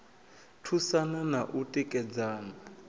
thusana na u tikedzana na